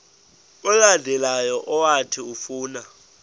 olandelayo owathi ufuna